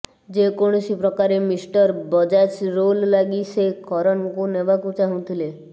ଯେକୌଣସି ପ୍ରକାରେ mister Bajaj role ଲାଗି ସେ କରନଙ୍କୁ ନେବାକୁ ଚାହୁଁଥିଲେ